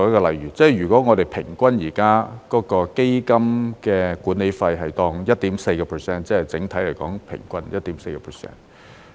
例如，如果我們現時基金的管理費是 1.4%， 即是整體來說平均 1.4%。